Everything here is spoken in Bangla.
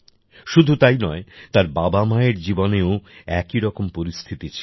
শুধু তাই নয় তার বাবামায়ের জীবনেও একই রকম পরিস্থিতি ছিল